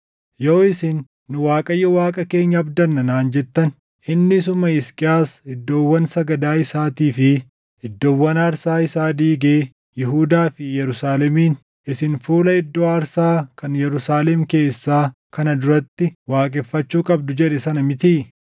Yoo isin, “Nu Waaqayyo Waaqa keenya abdanna” naan jettan, inni isuma Hisqiyaas iddoowwan sagadaa isaatii fi iddoowwan aarsaa isaa diigee Yihuudaa fi Yerusaalemiin, “Isin fuula iddoo aarsaa kan Yerusaalem keessaa kana duratti waaqeffachuu qabdu” jedhe sana mitii?